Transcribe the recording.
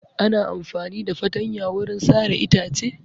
Ana amfani da fatanya wurin sare itace.